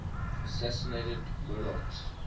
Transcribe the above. assassinated monarchs